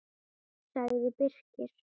sagði Birkir.